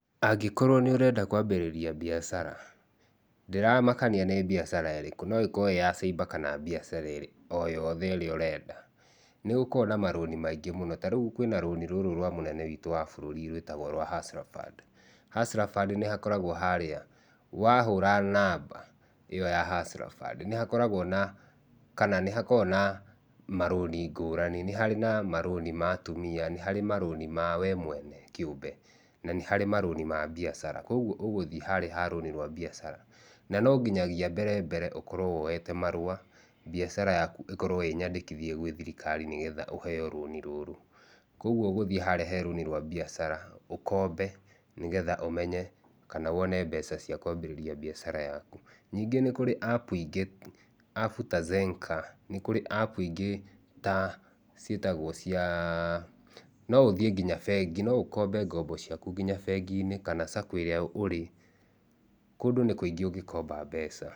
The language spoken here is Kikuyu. Angĩkorwo nĩ ũrenda kwambĩrĩria biacara, ndĩramakania nĩ biacara ĩrĩkũ. No ĩkorwo ĩĩ ya cyber kana biacara o yothe ĩrĩa ũrenda. Nĩ gũkoragwo na marũni maingĩ mũno. Ta rĩu kwĩna rũni rũrũ rwa mũnene witũ wa bũrũri rwĩtagwo Hustler Fund. Hustler Fund nĩ hakoragwo harĩa wahũra namba, ĩyo ya Hustler Fund, nĩ hakoragwo na kana nĩ hakoragwo na marũni ngũrani. Nĩ harĩ na marũni ma atumia, nĩ harĩ marũni ma we mwene kĩũmbe. Na nĩ harĩ marũni ma biacara. Kũguo ũgũthiĩ harĩa ha rũni rwa biacara. Na no nginyagia mbere mbere ũkorwo woyete marũa biacara yaku ĩkorwo ĩnyandĩkithie gwĩ thirikari nĩgetha ũheo rũni rũrũ. Kũguo ũgũthiĩ harĩa he rũni rwa biacara, ũkombe nĩgetha ũmenye kana wone mbeca cia kwambĩrĩria biacara yaku. Nyingĩ nĩ kũrĩ appu ingĩ. Appu ta Zenka, nĩ kũrĩ appu ingĩ ta ciĩtagwo cia. No ũthiĩ nginya bengi. No ũkombe ngombo ciaku nginya bengi-inĩ kana Sacco ĩrĩa ũrĩ. Kũndũ nĩ kũingĩ ũngĩkomba mbeca.